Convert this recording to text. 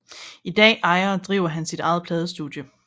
I dag ejer og driver han sit ejet pladestudie